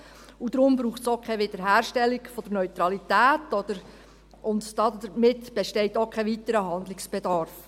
Darum braucht es auch keine Wiederherstellung der Neutralität, und damit besteht auch kein weiterer Handlungsbedarf.